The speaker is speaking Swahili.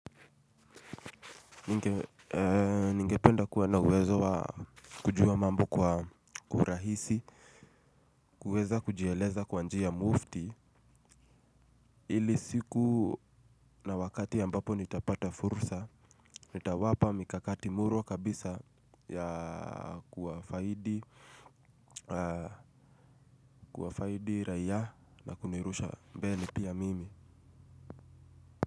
Ningependa kuwa na uwezo wa kujua mambo kwa urahisi. Kuweza kujieleza kwa njia mufti. Ili siku na wakati ambapo nitapata fursa nitawapa mikakati murwa kabisa ya kuwafaidi. Kuwafaidi raia na kunirusha mbele pia mimi.